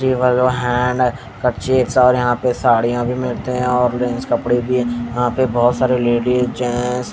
यहां पे साडियां भी मिलते हैं और कपड़े भी यहां पर बहोत सारे लेडीज जेंट्स --